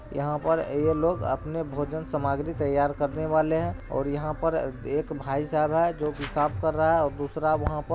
यहाँ पर ये लोग अपने भोजन सामग्री तैयार करने वाले हैं और यहाँ पर एक भाईसाब है जो की साफ कर रहा है और दूसरा वहाँ पर --